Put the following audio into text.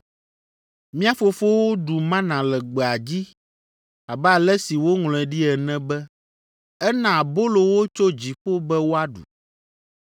Mía fofowo ɖu mana le gbea dzi abe ale si woŋlɔe ɖi ene be, ‘Ena abolo wo tso dziƒo be woaɖu.’ ”